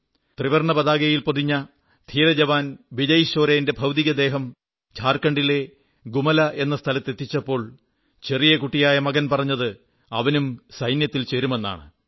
ത്രിവർണ്ണപതാകയിൽ പൊതിഞ്ഞ ധീരജവാൻ വിജയ് ശോരേന്റെ ഭൌതികദേഹം ഝാർഖണ്ഡിലെ ഗുമലാ എന്ന സ്ഥലത്ത് എത്തിച്ചപ്പോൾ ചെറിയ കുട്ടിയായ മകൻ പറഞ്ഞത് അവനും സൈന്യത്തിൽ ചേരുമെന്നാണ്